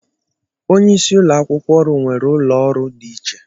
Onye isi ụlọakwukwo ọrụ nwere ụlọ ọrụ dị iche.